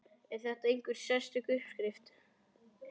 Er þetta einhver sérstök uppskrift?